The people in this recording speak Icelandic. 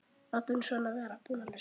Látum svona vera.